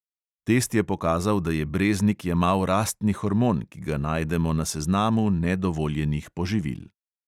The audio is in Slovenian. Test je pokazal, da je breznik jemal rastni hormon, ki ga najdemo na seznamu nedovoljenih poživil.